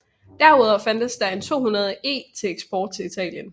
Derudover fandtes der en 200 E til eksport til Italien